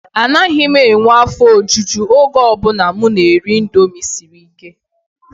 Anaghị m enwe afọ ojuju oge ọ bụla m na-eri indomie siri ike.